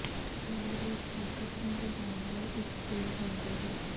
ਕਦਰ ਵਿੱਚ ਤਾਕਤ ਨੂੰ ਵਧਾਉਣ ਲਈ ਇੱਕ ਸਟੀਲ ਡੰਡੇ ਹੈ